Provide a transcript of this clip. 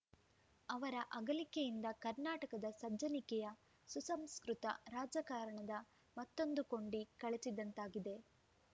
ಅವರ ಅಗಲಿಕೆಯಿಂದ ಕರ್ನಾಟಕದ ಸಜ್ಜನಿಕೆಯ ಸುಸಂಸ್ಕೃತ ರಾಜಕಾರಣದ ಮತ್ತೊಂದು ಕೊಂಡಿ ಕಳಚಿದಂತಾಗಿದೆ